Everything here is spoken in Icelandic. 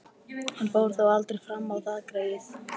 Hann fór þó aldrei fram á það, greyið.